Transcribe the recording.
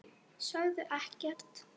Sögðu ekkert.